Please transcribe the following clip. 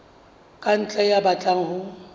ka ntle ya batlang ho